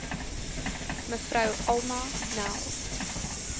mev alma nel